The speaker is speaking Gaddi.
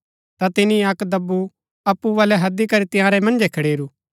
ता तिनी अक्क दब्बु अप्पु बलै हैदी करी तंयारै मन्जै खड़ेरू